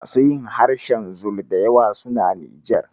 Masu yin harshen zulu da yawa suna Nijar.